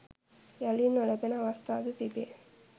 යළි නොලැබෙන අවස්ථාද තිබේ.